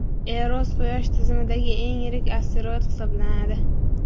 Eros – quyosh tizimidagi eng yirik asteroid hisoblanadi.